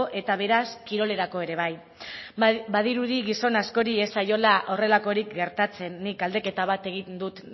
eta beraz kirolerako ere bai badirudi gizon askori ez zaiola horrelakorik gertatzen nik galdeketa bat egin dut